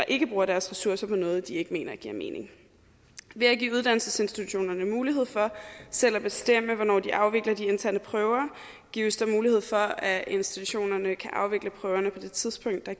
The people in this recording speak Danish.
ikke bruger deres ressourcer på noget de ikke mener giver mening ved at give uddannelsesinstitutionerne mulighed for selv at bestemme hvornår de afvikler de interne prøver gives der mulighed for at institutionerne kan afvikle prøverne på det tidspunkt der